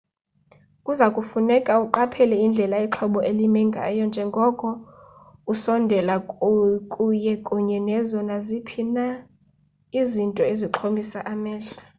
kuza kufuneka uqaphele indlela ixhoba elime ngayo njengoko usondela kuye kunye nazo naziphi na izinto ezixhomisa amehlo